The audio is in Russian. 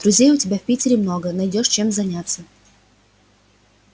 друзей у тебя в питере много найдёшь чем заняться